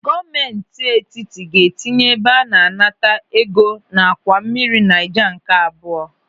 Gọọmenti etiti ga-etinye ebe a na-anata ego n'àkwà mmiri Naija nke abụọ.